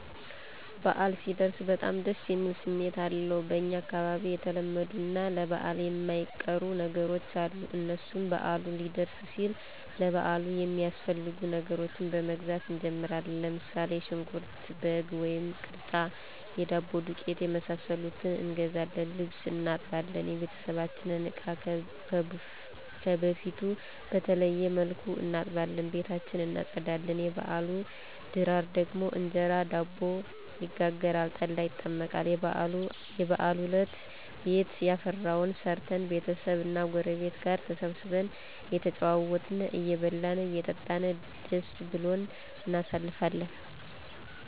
በአል ሲደርስ በጣም ደስ የሚል ስሜት አለዉ። በኛ አካባቢ የተለመዱ እና ለበአል የማይቀሩ ነገሮች አሉ። እነሱም በአሉ ሊደርስ ሲል ለበአሉ የሚያስፈልጉ ነገሮችን በመግዛት እንጀምራለን። ለምሳሌ ሽንኩርት፣ በግ ወይም ቅርጫ፣ የዳቦ ዱቄት የመሳሰሉትን እንገዛለን። ልብስ እናጥባለን፣ የበቤታችንን እቃ ከበፊቱ በተለየ መልኩ እናጥባለን፣ ቤታችን እናፀዳለን። የበአሉ ድራር ደግሞ እንጀራ እና ዳቦ ይጋገራል፣ ጠላ ይጠመቃል። የበአሉ አለት ቤት ያፈራዉን ሰርተን ቤተሰብ እና ጉረቤት ጋር ተሰባስበን እየተጨዋወትን አየበላን አየጠጣን ደስ ብሉን እናሳልፍለን